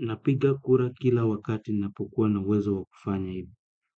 Napiga kura kila wakati ninapokua na uwezo wa kufanya hivyo.